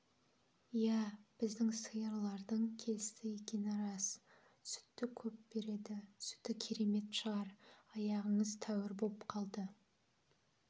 иә біздің сиырлардың келісті екені рас сүтті көп берді сүті керемет шығар аяғыңыз тәуір боп қалды